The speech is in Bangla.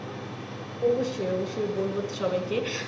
অবশ্যই অবশ্যই বলবো তো সবাই কে